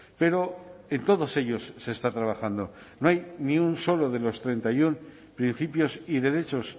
pero en todos ellos se está trabajando no hay ni un solo de los treinta y uno principios y derechos